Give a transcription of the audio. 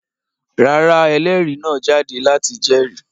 Rárá, ẹlérìí náà jáde láti jẹ́rìí.